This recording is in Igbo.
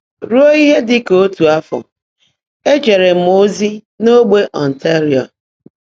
Rúó íhe ḍị́ kà ótú áfọ́, éjèèré m ózí n’ó́gbè Óntáríó.